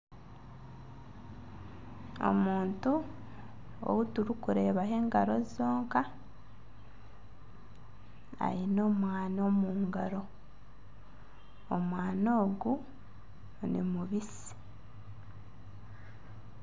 Omuntu ou turikureebaho engaro zonka, aine omwani omu ngaro, omwani ogu ni mubitsi